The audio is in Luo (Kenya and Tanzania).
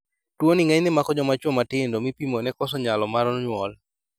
Tuo ni ng'enyne mako jomachuo matindo mipimo ne koso nyalo mar nyuol